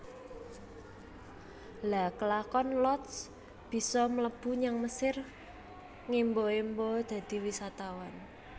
Lha kelakon Lotz bisa mlebu nyang Mesir ngemba emba dadi wisatawan